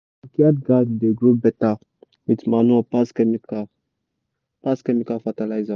backyard garden dey grow better with manure pass chemical pass chemical fertiliser.